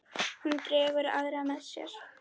Hún dregur aðra með sér.